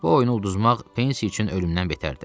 Bu oyunu udmaq Pensi üçün ölümdən betər idi.